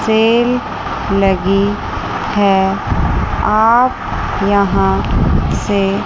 cell लगी है आप यहां से--